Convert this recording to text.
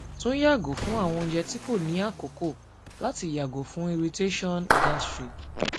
tun yago fun awọn ounjẹ ti ko ni akoko lati yago fun irritation fun irritation gastric